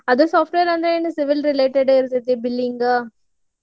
ಅದು software ಅಂದ್ರ್ ಏನ್ civil related ಇರ್ತೇತಿ billing .